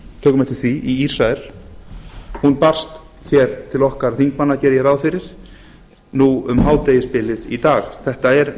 tökum eftir því í ísrael hún barst hér til okkar þingmanna geri ég ráð fyrir núna um hádegisbilið í dag þetta er